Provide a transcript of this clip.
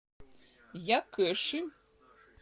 якэши